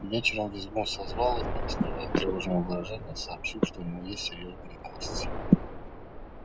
вечером визгун созвал их и не скрывая тревожного выражения сообщил что у него есть серьёзные новости